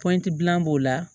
Pɔti dilan b'o la